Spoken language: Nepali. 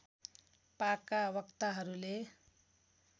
पाका वक्ताहरूले